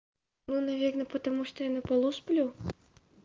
ну наверное потому что я на полу сплю